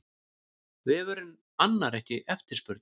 Vefurinn annar ekki eftirspurn